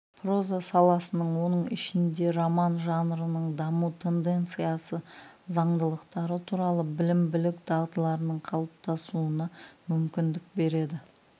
проза саласының оның ішінде роман жанрының даму тенденциясы заңдылықтары туралы білім-білік дағдыларының қалыптасуына мүмкіндік береді